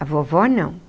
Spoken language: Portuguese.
A vovó não.